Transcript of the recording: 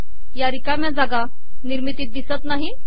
या िरकामया जागा िनिमरतीत िदसत नाहीत